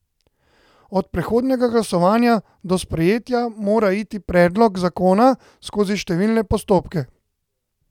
Od predhodnega glasovanja do sprejetja mora iti predlog zakona skozi številne postopke.